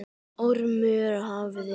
Ormur hafði gengið til kirkju.